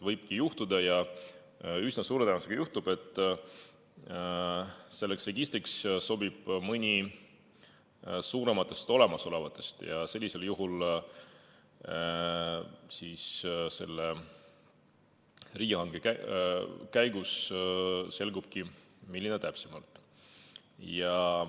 Võibki juhtuda ja üsna suure tõenäosusega juhtubki nii, et selleks registriks sobib mõni suurematest olemasolevatest ja sellisel juhul selgubki riigihanke käigus, milline täpsemalt.